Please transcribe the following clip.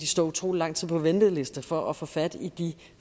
stå utrolig lang tid på venteliste for at få fat i de